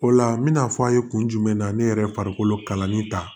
O la n bɛna fɔ an ye kun jumɛn na ne yɛrɛ ye farikolo kalanni ta